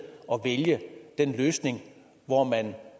at vælge den løsning hvor man